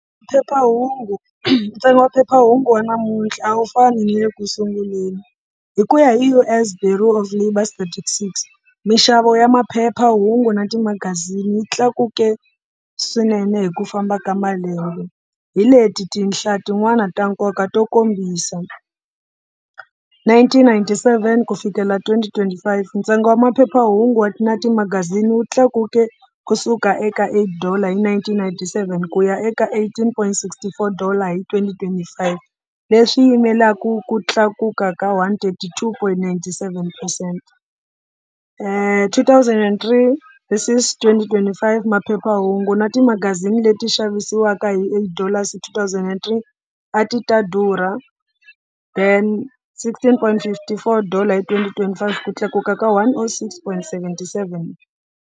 Phephahungu, ntsengo wa phephahungu wa namuntlha a wu fani na le ku sunguleni hi ku ya hi U_S Bureau Statistics mixavo ya maphephahungu na timagazini yi tlakuke swinene hi ku famba ka malembe hi leti tinhla tin'wani ta nkoka to kombisa, nineteen ninety seven ku fikelela twenty twenty five ntsengo wa maphephahungu wa na timagazini wu tlakuke kusuka eka eight dollar nineteen ninety seven ku ya eka eighteen point sixty four dollar hi twenty twenty five, leswi yimelaka ku tlakuka ka one-thirty two point ninety-seven percent. Two thousand and three this twenty twenty five, maphephahungu na timagazini leti xavisiwaka hi eight dollars hi two thousand and three a ti ta durha then sixteen point fifty four dollar hi twenty-twenty five ku tlakuka ka one O six pointy seventy-seven.